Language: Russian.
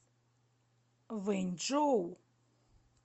вэньчжоу